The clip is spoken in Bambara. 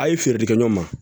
A' ye feere di ɲɔgɔn ma